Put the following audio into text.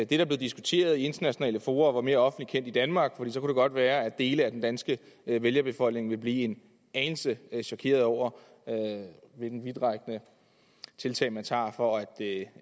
der blev diskuteret i internationale fora var mere offentligt kendt i danmark for så kunne det godt være at dele af den danske vælgerbefolkning ville blive en anelse chokerede over hvilke vidtrækkende tiltag man tager for at